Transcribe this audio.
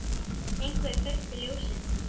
Einhver kveikti ljósin.